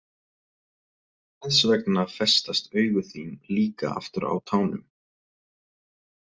Þessvegna festast augu þín líka aftur á tánum.